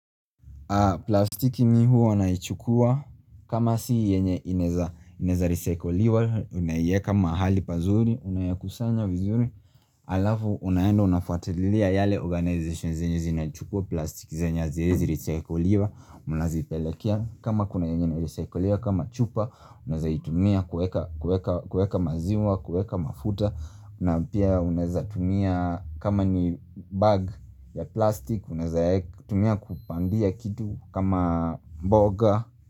Plastiki mi huwa naichukua kama si yenye ineza risaikoliwa ninaieka mahali pazuri unayakusanya vizuri aa alafu unaenda unafuatilia yale organizations zenye zinachukua plastiki zenye haziezi risaikoliwa unazipelekea kama kuna yenye na risaikoliwa kama chupa unazaitumia kueka kueka kueka maziwa, kueka mafuta na pia unaezatumia kama ni bag ya plastik unaezaektumia kupandia kitu kama mboga.